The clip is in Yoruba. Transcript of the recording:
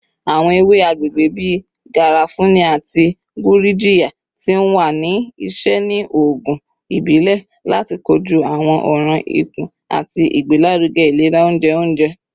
Awọn ewe agbegbe bii garafuni ati gurjiya ti wa ni iṣẹ ni oogun ibile lati koju awọn ọran ikun ati igbelaruge ilera ounjẹ ounjẹ.